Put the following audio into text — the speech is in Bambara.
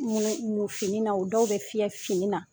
Mu fini na dɔw bɛ fiyɛ fini na